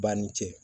Ba ni cɛ